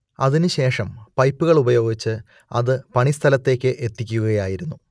അതിനു ശേഷം പൈപ്പുകൾ ഉപയോഗിച്ച് അത് പണി സ്ഥലത്തേക്ക് എത്തിക്കുകയായിരുന്നു